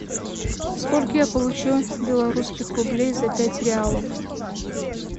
сколько я получу белорусских рублей за пять реалов